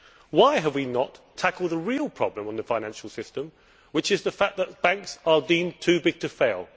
Why have we not tackled the real problem in the financial system, which is the fact that banks are deemed too big to fail?